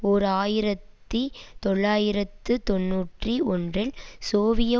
ஓர் ஆயிரத்தி தொள்ளாயிரத்து தொன்னூற்றி ஒன்றில் சோவிய